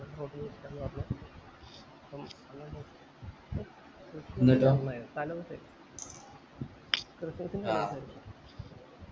പറഞ്ഞു അപ്പം ആയി ക്രിസ്തുമസ്‌